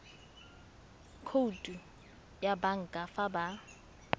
khoutu ya banka fa ba